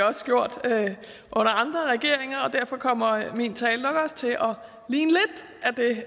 også gjort under andre regeringer og derfor kommer min tale nok også til at ligne